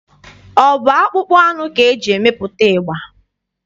Ọ bụ akpụkpọ anụ ka e ji emepụta ịgba?